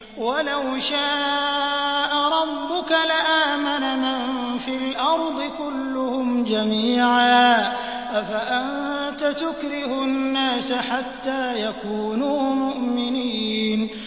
وَلَوْ شَاءَ رَبُّكَ لَآمَنَ مَن فِي الْأَرْضِ كُلُّهُمْ جَمِيعًا ۚ أَفَأَنتَ تُكْرِهُ النَّاسَ حَتَّىٰ يَكُونُوا مُؤْمِنِينَ